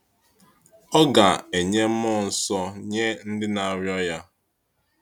Ọ ga “enye mmụọ nsọ nye ndị na-arịọ Ya.”